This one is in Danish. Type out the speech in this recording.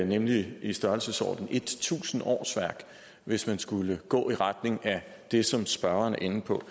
nemlig i størrelsesordenen tusind årsværk hvis man skulle gå i retning af det som spørgeren er inde på